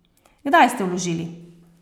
Kdaj ste vložili?